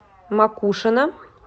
макушино